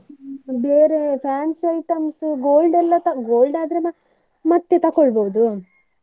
ಬೇರೆ fancy items gold ಎಲ್ಲಾ gold ಆದ್ರೆ ನಾ ಮತ್ತೆ ತೊಕೋಳ್ಬೋದು,